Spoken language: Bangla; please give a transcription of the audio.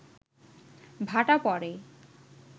ভাটা পড়ে